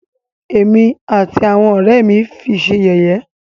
Ẹ̀mí àti àwọn ọ̀rẹ́ ẹ́ mí fi ṣé yẹ̀yẹ́.